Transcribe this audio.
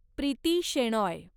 Preeti Shenoy